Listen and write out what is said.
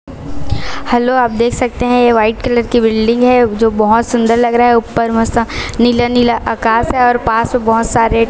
hello आप देख सकते हैं ये व्हाइट कलर की बिल्डिंग है जो बहोत सुंदर लग रहा उपर मस्त नीला नीला आकाश है और पास बहोत सारे--